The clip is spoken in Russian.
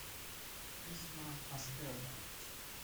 письма асперна